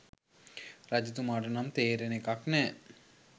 රජතුමාට නම් තේරෙන එකක් නෑ